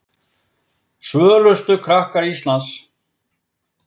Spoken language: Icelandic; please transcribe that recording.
Svölustu krakkar Íslands